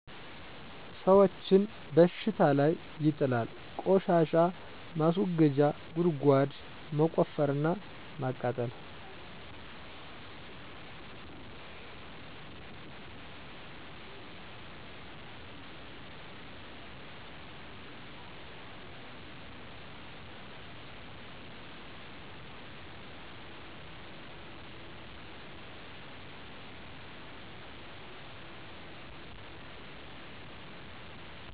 ሰወችን በሽታ ላይ ይጥላል : ቆሻሻ ማስወገጃ ጉድጓድ መቆፈር እና ማቃጠል